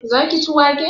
Za ki ci wake?